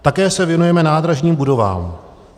Také se věnujeme nádražním budovám.